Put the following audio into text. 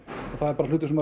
það er bara hlutur sem